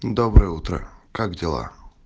доброе утро как дела